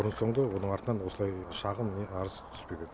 бұрын соңды оның артынан осылай шағым не арыз түспеген